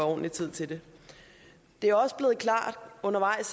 ordentlig tid til det det er også undervejs